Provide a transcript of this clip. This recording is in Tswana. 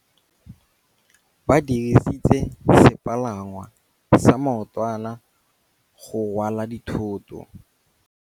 Ba dirisitse sepalangwasa maotwana go rwala dithôtô.